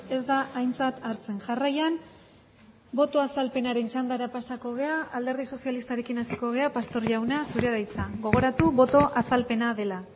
ez da aintzat hartzen jarraian boto azalpenaren txandara pasako gara alderdi sozialistarekin hasiko gara pastor jauna zurea da hitza gogoratu boto azalpena dela